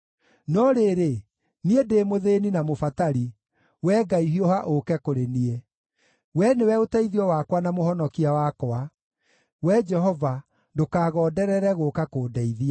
No rĩrĩ, niĩ ndĩ mũthĩĩni na mũbatari; Wee Ngai, hiuha ũũke kũrĩ niĩ. Wee nĩwe ũteithio wakwa na mũhonokia wakwa; Wee Jehova, ndũkagonderere gũũka kũndeithia.